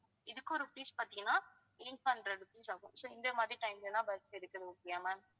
இதுக்கும் rupees பாத்தீங்கன்னா eight hundred rupees ஆகும் so இந்த மாதிரி time லதான் bus இருக்குது okay யா ma'am